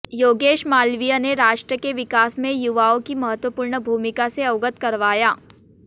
योगेश मालवीया ने राष्ट्र के विकास में युवाओं की महत्वपूर्ण भूमिका से अवगत करवाया